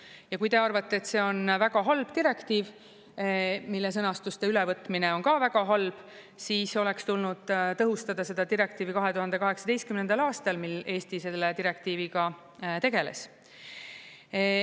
Ja kui te arvate, et see on väga halb direktiiv, mille sõnastuste ülevõtmine on ka väga halb, siis oleks tulnud tõhustada seda direktiivi 2018. aastal, mil Eesti selle direktiiviga tegeles.